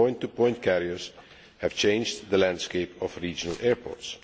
Point to point carriers have changed the landscape of regional airports.